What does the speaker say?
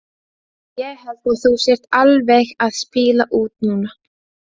Ég held að þú sért alveg að spila út núna!